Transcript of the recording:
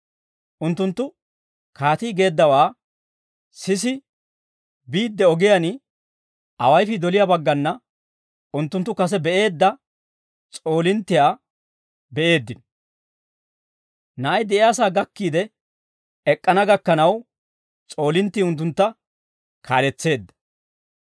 Unttunttu kaatii geeddawaa sisi biidde ogiyaan awayifii doliyaa baggana unttunttu kase be'eedda s'oolinttiyaa be'eeddino; na'ay de'iyaasaa gakkiide ek'k'ana gakkanaw, s'oolinttii unttuntta kaaletseedda.